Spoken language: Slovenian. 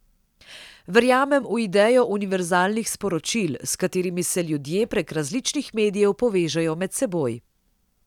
Verjamem v idejo univerzalnih sporočil, s katerimi se ljudje prek različnih medijev povežejo med seboj.